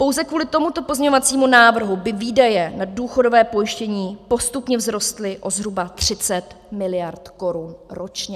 Pouze kvůli tomuto pozměňovacímu návrhu by výdaje na důchodové pojištění postupně vzrostly o zhruba 30 miliard korun ročně.